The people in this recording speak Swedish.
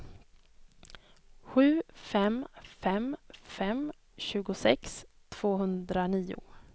sju fem fem fem tjugosex tvåhundranio